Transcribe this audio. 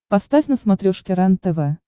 поставь на смотрешке рентв